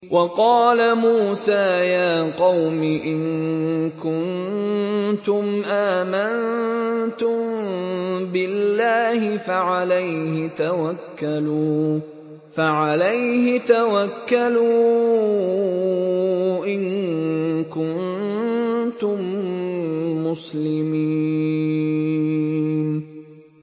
وَقَالَ مُوسَىٰ يَا قَوْمِ إِن كُنتُمْ آمَنتُم بِاللَّهِ فَعَلَيْهِ تَوَكَّلُوا إِن كُنتُم مُّسْلِمِينَ